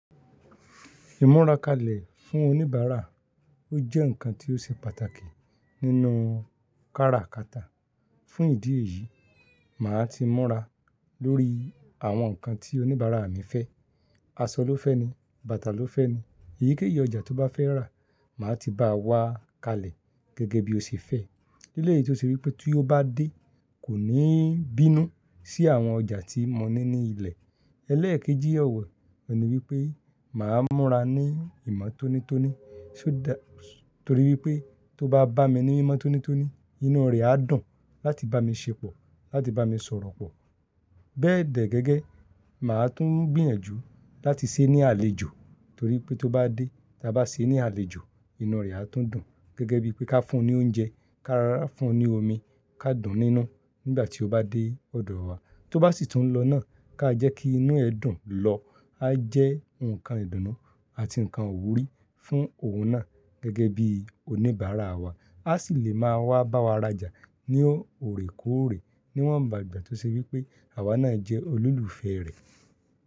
Ìmu ra kalẹ̀ fún oníbàárà, ó jẹ́ ǹkan tí ó ṣe pàtàkì nínú kára kata. Fún ìdí èyí, màá ti mura lórí àwọn ǹkan tí oníbàárà mi fẹ́. Aṣọ ló fẹ́ ni, bàtà ló fẹ́ ni, èyíkéyìí ọjà tó bá fẹ́ rà, màá ti bá a wá kalẹ̀ gẹ́gẹ́ bí ó ṣe fẹ́. Ni ele yìí tó ṣe wí pé tí ó bá dé, kò ní bínú sí àwọn ọjà tí mo ní ní ilẹ̀. Elẹ́ẹ̀kejì e wo, ọ̀ní wípé, màá mọ́ra ní ìmọ́tónítóní, torí wípé tó bá bá mi ní mímọ́tónítóní, inú rẹ̀ á dùn láti bá mi ṣépọ̀, láti bá mi sọ̀rọ̀ pọ̀. Bẹ́ẹ̀dẹ́ gẹ́gẹ́, màá tún gbìyànjú láti ṣé ní àlejò torí pé tó bá dé, tí a bá ṣe é ní àlejò, inú rẹ̀ á tún dùn. Gẹ́gẹ́ bí pé ká fún un ní oúnjẹ, ká rárá fún un ní omi, ká dùn nínu nígbà tí ó bá dé ọ̀dọ̀ wa. Tó bá sì tún lọ náà, ká jẹ́ kí inú ẹ dùn lọ, á jẹ́ ǹkan ìdùnnú àti ǹkan iwúrí fún òun náà gẹ́gẹ́ bí oníbàárà wa. A sì lè máa wá bá wa raja ní òrèkóòrè níwọ́n ba igbà tó ṣe wí pé àwa náà jẹ́ olùlùfẹ́ rẹ̀.